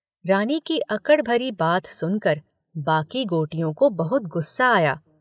रानी की अकड़ भरी बात सुन कर बाकी गोटियों को बहुत गुस्सा आया।